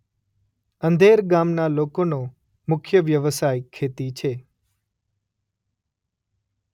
અંધેર ગામના લોકોનો મુખ્ય વ્યવસાય ખેતી છે.